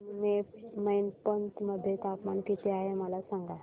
आज मैनपत मध्ये तापमान किती आहे मला सांगा